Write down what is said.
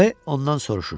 B ondan soruşur.